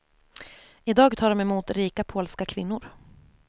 I dag tar de emot rika polska kvinnor.